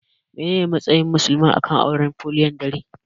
Menene matsayar musulmai a kan auren Foliyandari?